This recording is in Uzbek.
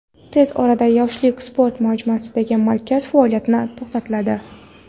tez orada "Yoshlik" sport majmuasidagi markaz faoliyati ham to‘xtatiladi.